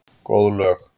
Góð lög.